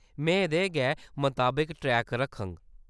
में एह्‌‌दे गै मताबक ट्रैक रक्खङ।